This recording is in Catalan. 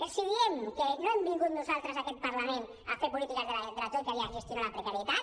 els diem que no hem vingut nosaltres en aquest parlament a fer polítiques de la troica i a gestionar la precarietat